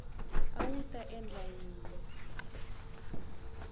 a wu ta endla yini